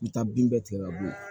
N bɛ taa bin bɛɛ tigɛ ka bɔ yen